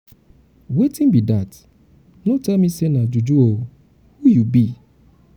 wetin be dat no tell me say um na juju oo who you be?